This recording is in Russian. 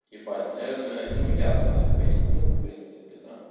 ебать наверное ну ясно я пояснил в принципе да